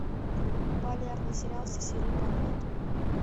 полярный сериал все серии подряд